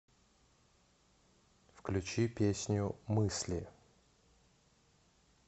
включи песню мысли